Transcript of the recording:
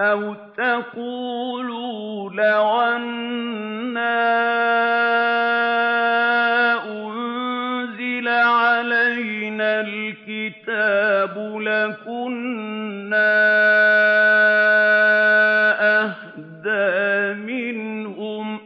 أَوْ تَقُولُوا لَوْ أَنَّا أُنزِلَ عَلَيْنَا الْكِتَابُ لَكُنَّا أَهْدَىٰ مِنْهُمْ ۚ